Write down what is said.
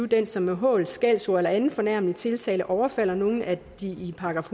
den som med hån skældsord eller anden fornærmet tiltale overfalder nogle af de i §